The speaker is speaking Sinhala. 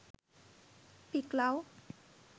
pic love